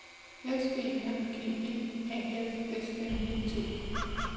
S E N G E A F S N I T